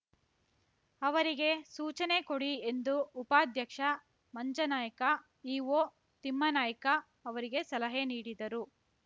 ಅವರಿಗೆ ಸೂಚನೆ ಕೊಡಿ ಎಂದು ಉಪಾದ್ಯಕ್ಷ ಮಂಜನಾಯ್ಕ ಇಓ ತಿಮ್ಮನಾಯ್ಕ ಅವರಿಗೆ ಸಲಹೆ ನೀಡಿದರು